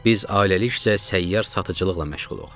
Biz ailəlikcə səyyar satıcılıqla məşğuluq.